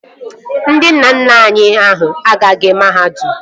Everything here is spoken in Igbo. Ndị nna nna anyị ha agaghị mahadum